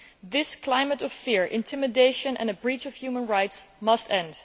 This climate of fear and intimidation and the breaches of human rights must end.